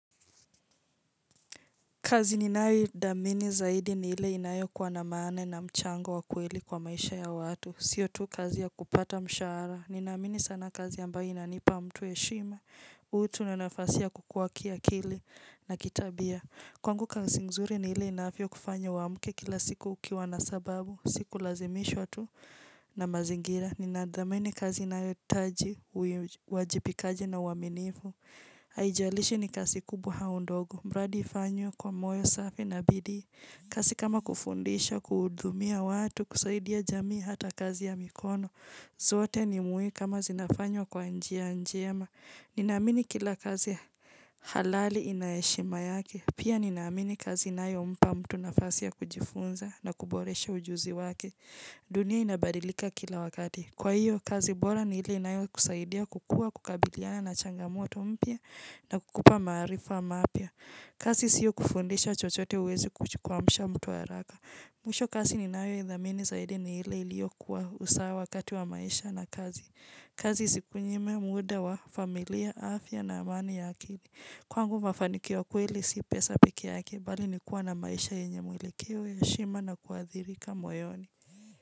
Kazi ninaya dhamini zaidi ni ile inayo kwa na maane na mchango wakweli kwa maisha ya watu. Siyo tu kazi ya kupata mshara. Nina amini sana kazi ambayo inanipa mtu heshima. Utu na nafasi kukuwa pia akili na kitabia. Kwangu kazi nzuri ni ile inavyo kufanya uamuke kila siku ukiwa na sababu. Sikulazimishwa tu na mazingira. Nina tamini kazi inayoitaji, wajipikaji na uaminifu. Haijalishi ni kazi kubwa au ndogo. Mradi ifanywe kwa moyo safi na bidii kazi kama kufundisha, kuhutumia watu, kusaidia jamii ata kazi ya mikono. Zote ni muhimu kama zinafanywa kwa njia njema. Ninamini kila kazi halali ina heshima yake. Pia ninamini kazi inayompa mtu nafasi kujifunza na kuboresha ujuzi wake. Dunia inabadilika kila wakati. Kwa hiyo, kazi bora ni hile inayo kusaidia kukuwa kukabiliana na changamoto mpya na kukupa maarifa mapya. Kazi siyo kufundisha chochote huwezi kuamsha mtu haraka. Mwisho kazi ni nayo idhamini zaidi ni ile iliyo kuwa usawa wakati wa maisha na kazi. Kazi isikunyime muda wa familia, afya na amani ya akili. Kwangu mafanikio ya ukweli si pesa pikee yake, bali ni kuwa na maisha yenye mwelekeo heshima na kuadhirika moyoni.